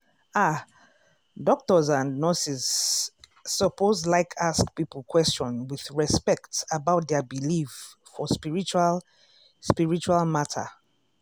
ah! doctors and nurses lsuppose like ask people question with respect about dia believe for spiritual spiritual matter.